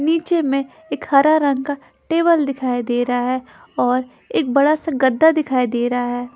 नीचे में एक हरा रंग का टेबल दिखाई दे रहा है और एक बड़ा सा गद्दा दिखाई दे रहा है।